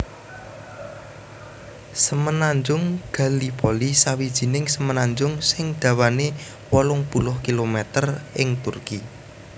Semenanjung Gallipoli sawijining semenanjung sing dawané wolung puluh kilometer ing Turki